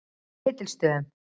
Ketilsstöðum